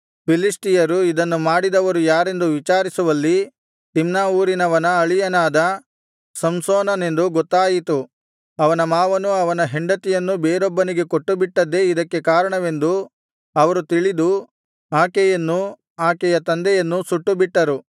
ಫಿಲಿಷ್ಟಿಯರು ಇದನ್ನು ಮಾಡಿದವರು ಯಾರೆಂದು ವಿಚಾರಿಸುವಲ್ಲಿ ತಿಮ್ನಾ ಊರಿನವನ ಅಳಿಯನಾದ ಸಂಸೋನನೆಂದು ಗೊತ್ತಾಯಿತು ಅವನ ಮಾವನು ಅವನ ಹೆಂಡತಿಯನ್ನು ಬೇರೊಬ್ಬನಿಗೆ ಕೊಟ್ಟುಬಿಟ್ಟದ್ದೇ ಇದಕ್ಕೆ ಕಾರಣವೆಂದು ಅವರು ತಿಳಿದು ಆಕೆಯನ್ನೂ ಆಕೆಯ ತಂದೆಯನ್ನೂ ಸುಟ್ಟುಬಿಟ್ಟರು